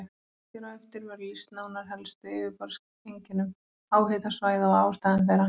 Hér á eftir verður lýst nánar helstu yfirborðseinkennum háhitasvæða og ástæðum þeirra.